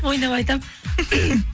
ойнап айтамын